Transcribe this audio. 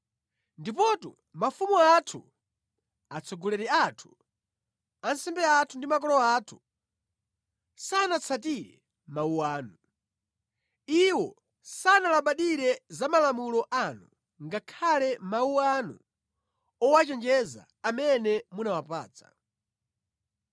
Ndipotu mafumu athu, atsogoleri athu, ansembe athu ndi makolo athu sanatsatire mawu anu. Iwo sanalabadire za malamulo anu ngakhale mawu anu owachenjeza amene munawapatsa.